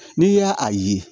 N'i y'a ye